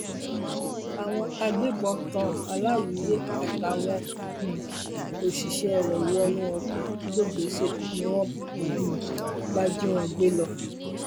àwọn agbébọn tan aláwíyé àtàwọn um òṣìṣẹ rẹ wọnú ọkọ lọgbèsè ni wọn um bá jí wọn gbé lọ